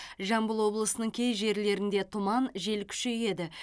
жамбыл облысының кей жерлерінде тұман жел күшейеді